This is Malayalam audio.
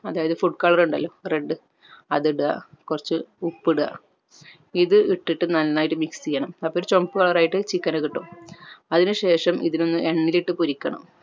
അതായത് food colour ഇണ്ടല്ലോ red അത് ഇട കൊർച്ച് ഉപ്പ് ഇട ഇത് ഇട്ടിട്ട് നന്നായിട്ട് mix ചെയ്യണം അപ്പോ ഒരു ചൊമപ്പ് colour ആയിട്ട് chicken കിട്ടും അയിന് ശേഷം ഇതിനെയൊന്ന് എണ്ണയിൽ ഇട്ട് പൊരിക്കണം